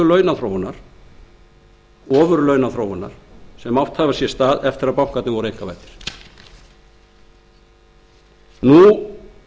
launaþróunar ofurlaunaþróunar sem átt hafa sér stað eftir að bankarnir voru einkavæddir nú